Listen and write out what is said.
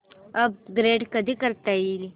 upgrade कधी करता येईल